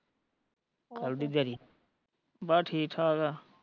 ਕੱਲ ਦੀ ਦਿਆੜੀ ਬਸ ਠੀਕ ਠਾਕ ਆ